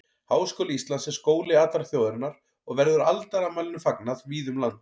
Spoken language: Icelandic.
Háskóli Íslands er skóli allrar þjóðarinnar og verður aldarafmælinu fagnað víða um land.